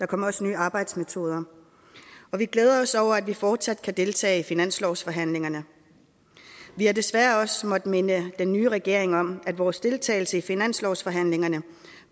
kommer også nye arbejdsmetoder og vi glæder os over at vi fortsat kan deltage i finanslovsforhandlingerne vi har desværre også måttet minde den nye regering om at vores deltagelse i finanslovsforhandlingerne